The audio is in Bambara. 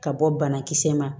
Ka bɔ banakisɛ ma